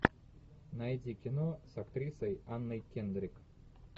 найди кино с актрисой анной кендрик